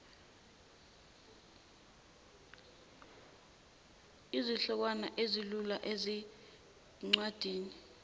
izihlokwana ezilula ezincwadini